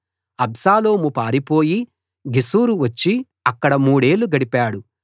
అబ్షాలోము పారిపోయి గెషూరు వచ్చి అక్కడ మూడేళ్ళు గడిపాడు